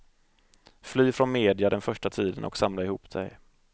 Fly från media den första tiden och samla ihop dig.